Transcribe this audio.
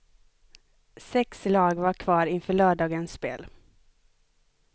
Sex lag var kvar inför lördagens spel.